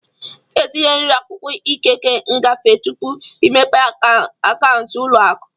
Ị ga-etinyerịrị akwụkwọ ikike ngafe tupu ịmepe akaụntụ ụlọ akụ.